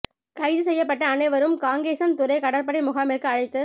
கைது செய்யப்பட்ட அனைவரும் காங்கேசன் துறை கடற்படை முகாமிற்கு அழைத்து